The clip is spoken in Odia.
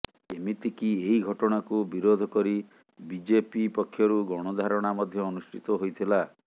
ଏମିତିକି ଏହି ଘଟଣାକୁ ବିରୋଧ କରି ବିଜେପି ପକ୍ଷରୁ ଗଣଧାରଣା ମଧ୍ୟ ଅନୁଷ୍ଠିତ ହୋଇଥିଲା